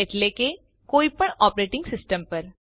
એટલે કે કોઈપણ ઓપરેટિંગ સિસ્ટમ પર